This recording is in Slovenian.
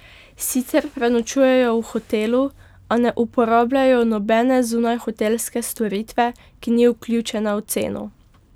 Sicer prenočujejo v hotelu, a ne uporabljajo nobene zunajhotelske storitve, ki ni vključena v ceno.